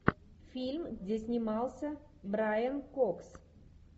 фильм где снимался брайан кокс